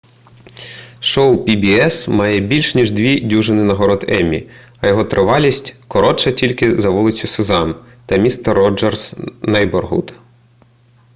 шоу pbs має більш ніж дві дюжини нагород еммі а його тривалість коротша тільки за вулицю сезам та містер роджерс нейборгуд